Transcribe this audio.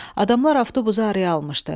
Adamlar avtobuza arxa almışdı.